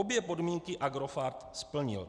Obě podmínky Agrofert splnil.